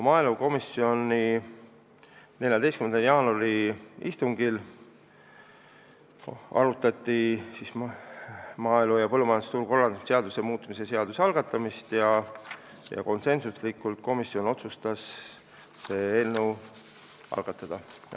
Maaelukomisjoni 14. jaanuari istungil arutati maaelu ja põllumajandusturu korraldamise seaduse muutmise seaduse eelnõu algatamist ja konsensuslikult otsustas komisjon selle eelnõu algatada.